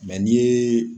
n'i ye